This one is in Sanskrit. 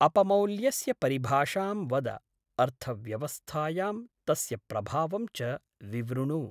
अपमौल्यस्य परिभाषां वद, अर्थव्यवस्थायां तस्य प्रभावं च विवृणु।